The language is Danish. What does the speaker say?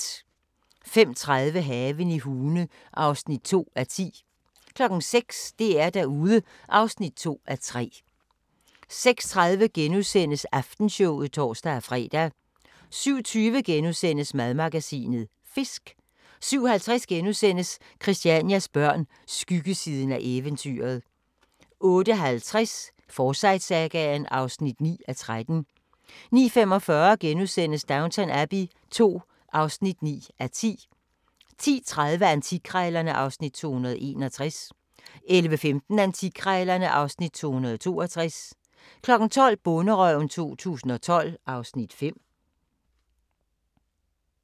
05:30: Haven i Hune (2:10) 06:00: DR-Derude (2:3) 06:30: Aftenshowet *(tor-fre) 07:20: Madmagasinet – Fisk * 07:50: Christianias Børn – Skyggesiden af eventyret * 08:50: Forsyte-sagaen (9:13) 09:45: Downton Abbey II (9:10)* 10:30: Antikkrejlerne (Afs. 261) 11:15: Antikkrejlerne (Afs. 262) 12:00: Bonderøven 2012 (Afs. 5)